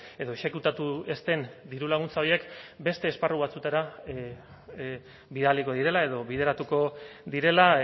edo exekutatu ez den diru laguntza horiek beste esparru batzutara bidaliko direla edo bideratuko direla